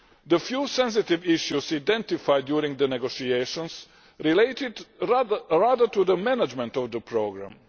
The few sensitive issues identified during the negotiations related rather to management of the programme.